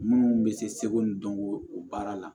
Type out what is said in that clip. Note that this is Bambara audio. Munnu bɛ se seko ni dɔnko o baara la